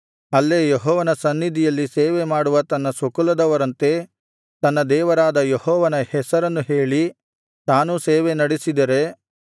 ಅಲ್ಲೇ ಯೆಹೋವನ ಸನ್ನಿಧಿಯಲ್ಲಿ ಸೇವೆಮಾಡುವ ತನ್ನ ಸ್ವಕುಲದವರಂತೆ ತನ್ನ ದೇವರಾದ ಯೆಹೋವನ ಹೆಸರನ್ನು ಹೇಳಿ ತಾನೂ ಸೇವೆ ನಡಿಸಿದರೆ